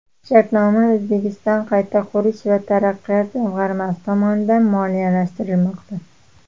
Shartnoma O‘zbekiston qayta qurish va taraqqiyot jamg‘armasi tomonidan moliyalashtirilmoqda.